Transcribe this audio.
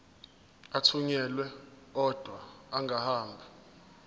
athunyelwa odwa angahambi